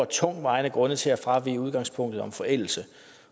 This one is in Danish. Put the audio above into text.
tungtvejende grunde til at fravige udgangspunktet om forældelse